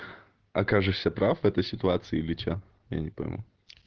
окажешься прав этой ситуации или что я не пойму